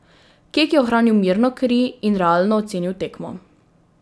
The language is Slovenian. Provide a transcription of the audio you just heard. Kek je ohranil mirno kri in realno ocenil tekmo.